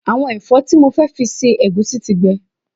Àwọn ẹ̀fọ́ tí mo fẹ́ fi se ẹ̀gúsí ti gbẹ